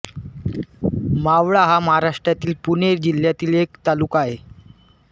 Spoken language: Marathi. मावळ हा महाराष्ट्रातील पुणे जिल्ह्यातील एक तालुका आहे